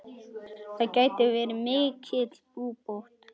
Það geti verið mikil búbót.